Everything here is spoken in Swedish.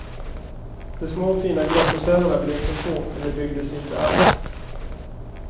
De små fina gruppbostäderna blev för få eller byggdes inte alls.